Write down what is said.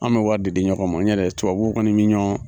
An bi wari de di ɲɔgɔn ma n ɲɔdɛ tubabu kɔni min ɲɔn.